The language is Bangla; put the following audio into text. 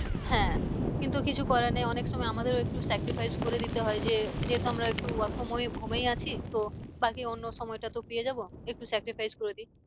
হ্যাঁ কিন্তু কিছু করার নেই অনেক সময় আমাদের ও একটু sacrifice করে দিতে হয় যে যেহেতু আমরা একটু work from home এই আছি তো বাকি অন্য সময়টা তো পেয়ে যাবো একটু sacrifice করে দিই।